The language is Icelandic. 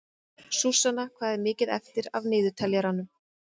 Súsanna, hvað er mikið eftir af niðurteljaranum?